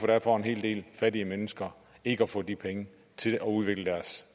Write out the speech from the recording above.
være for en hel del fattige mennesker ikke at få de penge til at udvikle deres